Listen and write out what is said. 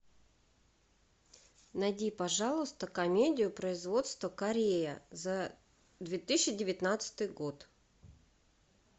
найди пожалуйста комедию производства корея за две тысячи девятнадцатый год